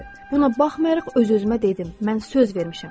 Buna baxmayaraq öz-özümə dedim, mən söz vermişəm.